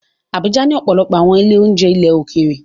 Abuja ní ọ̀pọ̀lọpọ̀ àwọn ilé-oúnjẹ ilẹ̀ òkèèrè